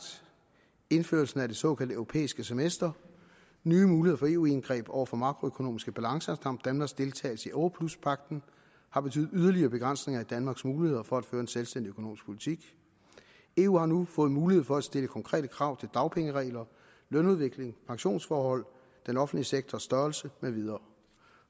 indførelsen af det såkaldte europæiske semester nye muligheder for eu indgreb over for makroøkonomiske balancer samt danmarks deltagelse i europluspagten har betydet yderligere begrænsninger i danmarks muligheder for at føre en selvstændig økonomisk politik eu har nu fået mulighed for at stille konkrete krav til dagpengeregler lønudvikling pensionsforhold den offentlige sektors størrelse med videre